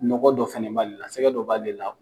Nɔgɔ dɔ fɛnɛ b'ale la, sɛgɛ dɔ b'ale la .